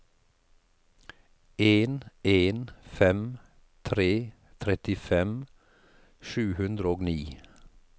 en en fem tre trettifem sju hundre og ni